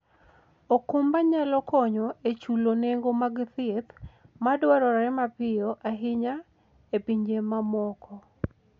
okumba nyalo konyo e chulo nengo mag thieth madwarore mapiyo ahinya e pinje mamoko.